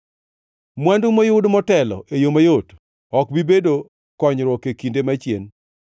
Mwandu moyud motelo e yo mayot ok bi bedo konyruok e kinde machien.